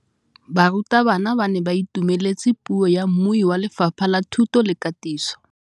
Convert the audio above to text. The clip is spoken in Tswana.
Barutabana ba ne ba itumeletse puô ya mmui wa Lefapha la Thuto le Katiso.